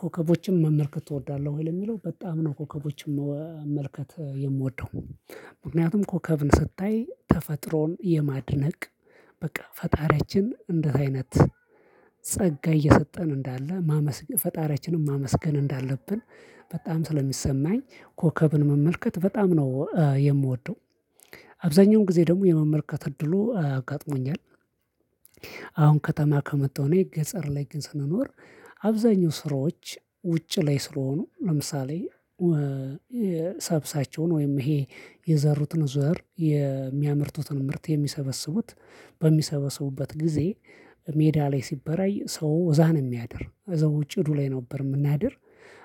ኮከቦችን መመልከት እወዳለሁ ወይ? የሚለው በጣም ነው ኮከቦችን መመልከት የምወደው። ምክንያቱም ኮከብን ስታይ ተፈጥሮን የማድነቅ በቃ ፈጣሪያችን እንደዚህ አይነት ጸጋ እየሰጠን እንዳለ ማመስገን ፈጣሪያችንን ማመስገን እንዳለብን በጣም ስለሚሰማኝ ኮከብን መመልከት በጣም ነው የምወደው። አብዛኛውን ጊዜ ደግሞ የመመልከት እድሉ ጋጥሞኛል። አሁን ከተማ ከመጣሁኝ ገጠር ላይ ግን ስንኖር አብዛኛው ስራዎች ውጭ ላይ ስለሆኑ ለምሳሌ ሰብሳቸውን ወይም ይሄ የዘሩትን ዘር የሚያምርቱትን ምርት የሚሰበስቡት። በሚሰበስቡበት ጊዜ ሜዳ ላይ ሲበራይ ሰው እዛ ነው የሚያድር እዛ ውጪ ዱሌ ነበር የምናድር።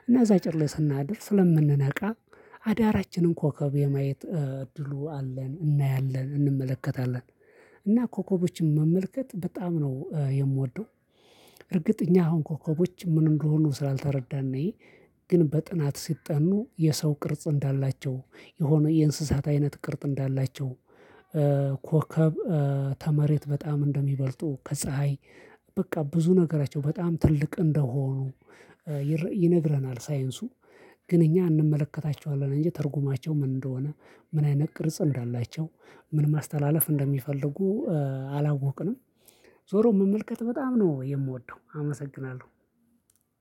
እና እዛ ጭድ ላይ ስናድር ስለምንነቃ አዳራችንን ኮከብ የማየት ድሉ አለን እናያለን እንመለከታለን። እና ኮከቦችን መመልከት በጣም ነው የምወደው። እርግጥ እኛ አሁን ኮከቦች ምን እንደሆኑ ስላልተረዳን እንይ ግን በጥናት ሲጠኑ የሰው ቅርጽ እንዳላቸው የሆነ የእንስሳት አይነት ቅርጽ እንዳላቸው። ኮከብ ተመሬት በጣም እንደሚበልጡ ከፀሀይ በቃ ብዙ ነገራቸው በጣም ትልቅ እንደሆኑ ይነግረናል ሳይንሱ። ግን እኛ እንመለከታቸዋለን እንጂ ተርጉማቸው ምን እንደሆነ ምን አይነት ቅርጽ እንዳላቸው ምን ማስተላለፍ እንደሚፈልጉ አላወቅንም። ዞሮ መመልከት በጣም ነው የምወደው አመሰግናለሁ።